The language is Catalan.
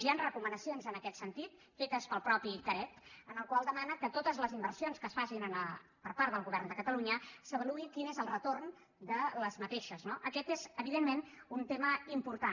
hi han recomanacions en aquest sentit fetes pel mateix carec en les quals demana que de totes les inversions que es facin per part del govern de catalunya s’avaluï quin n’és el retorn no aquest és evidentment un tema important